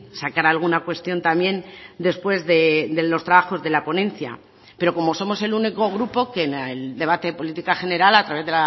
sacar alguna cuestión también después de los trabajos de la ponencia pero como somos el único grupo que en el debate de política general a través